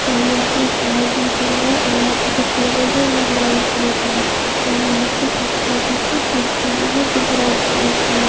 और यहां पे लाइट जल रहा है और यहां पे जो टेबल है वो ब्राउन कलर का है और यहां पे एक छोटी सी कुर्सी भी है जो ब्राउन कलर है।